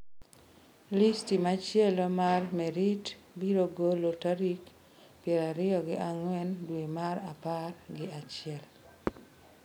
Listi machielo mar Merit biro golo tarik prariyo gi ang'wen dwe mar apar gi achiel.